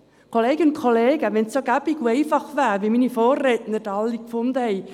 Kolleginnen und Kollegen, wenn es nur so einfach wäre, wie meine Vorredner alle gesagt haben.